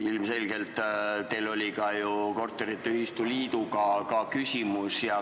Ilmselgelt teil oli ka korteriühistute liiduga küsimus.